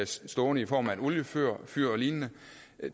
stående i form af et oliefyr eller lignende